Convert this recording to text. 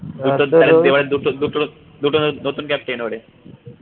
দুটো দুটো লোক নতুন captain এবারে